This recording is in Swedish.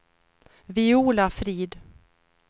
Viola Frid